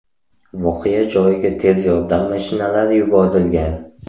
Voqea joyiga tez yordam mashinalari yuborilgan.